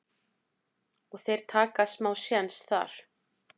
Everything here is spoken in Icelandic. en þeir taka smá séns þar.